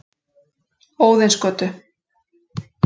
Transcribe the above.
Óðinsgötu